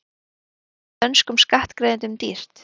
Stríðið er dönskum skattgreiðendum dýrt